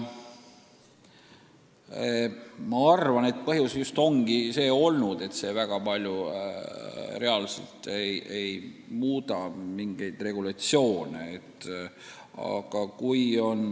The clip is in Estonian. Küllap põhjus ongi olnud see, et see väga palju mingeid regulatsioone ei muudaks.